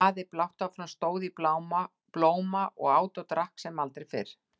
Daði blátt áfram stóð í blóma og át og drakk sem aldrei fyrr.